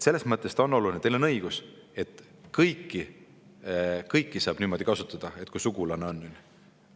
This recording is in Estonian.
Selles mõttes on teil õigus, et kõiki saab niimoodi kasutada, kui on näiteks sugulane või keegi.